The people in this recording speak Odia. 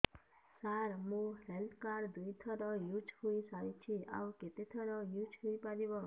ସାର ମୋ ହେଲ୍ଥ କାର୍ଡ ଦୁଇ ଥର ୟୁଜ଼ ହୈ ସାରିଛି ଆଉ କେତେ ଥର ୟୁଜ଼ ହୈ ପାରିବ